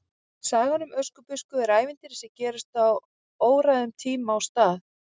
Sagan um Öskubusku er ævintýri sem gerist á óræðum tíma og stað.